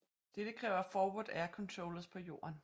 Dette kræver Forward air controllers på jorden